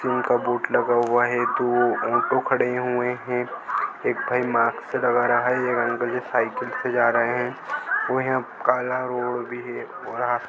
कि उनका बोर्ड लगा हुआ है तो वो तो खडे हुए है एक भाई मास्क लगा रहा है और अंकल जी सायकल पे जा रहे है वही अब काला रोड भी है वहा --